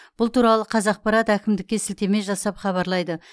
бұл туралы қазақпарат әкімдікке сілтеме жасап хабарлайды